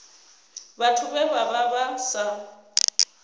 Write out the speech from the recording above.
vhathu vhe vha vha sa